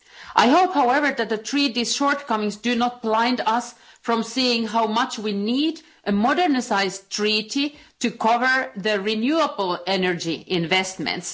I hope, however, that the Treaty's shortcomings do not blind us from seeing how much we need a modernised treaty to cover renewable energy investments.